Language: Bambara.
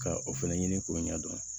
Ka o fɛnɛ ɲini k'o ɲɛ dɔn